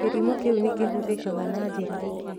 Kĩrimũ kĩũ nĩkĩhũthĩkaga na njĩra ingĩ